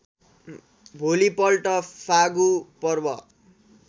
भोलिपल्ट फागु पर्व